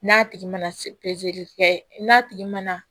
N'a tigi mana kɛ n'a tigi mana